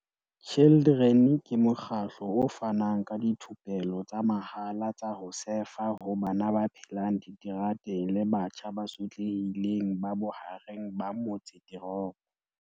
Children ke mokgatlo o fanang ka dithupelo tsa mahala tsa ho sefa ho bana ba phelang diterateng le batjha ba sotlehileng ba bohareng ba motseteropo.